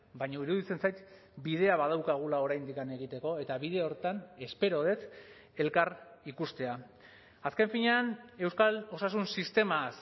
baina iruditzen zait bidea badaukagula oraindik egiteko eta bide horretan espero dut elkar ikustea azken finean euskal osasun sistemaz